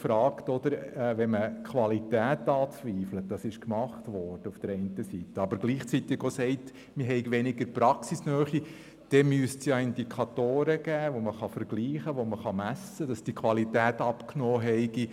Wenn man nun die Qualität anzweifelt, was teilweise gemacht wurde, und gleichzeitig sagt, es fehle an Praxisnähe, dann müsste es Indikatoren geben, anhand derer man messen und feststellen könnte, ob die Qualität abgenommen hat.